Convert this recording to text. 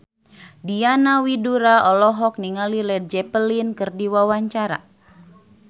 Diana Widoera olohok ningali Led Zeppelin keur diwawancara